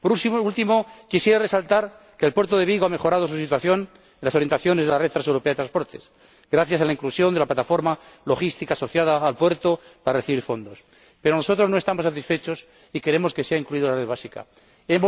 Por último, quisiera resaltar que el puerto de Vigo ha mejorado su situación en las orientaciones de la Red Transeuropea de Transporte, gracias a la inclusión de la plataforma logística asociada al puerto para recibir fondos. Pero nosotros no estamos satisfechos y queremos que sea incluido en la red principal.